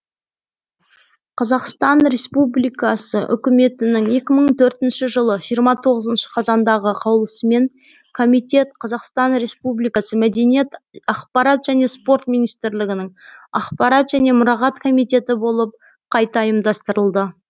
қазақстан республикасы үкіметінің екі мың төртінші жылы жиырма тоғызыншы қазандағы қаулысымен комитет қазақстан республикасы мәдениет ақпарат және спорт министрлігінің ақпарат және мұрағат комитеті болып қайта ұйымдастырылды